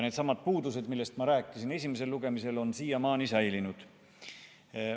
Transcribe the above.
Needsamad puudused, millest ma rääkisin esimesel lugemisel, on siiamaani säilinud.